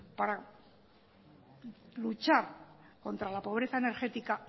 para luchar contra la pobreza energética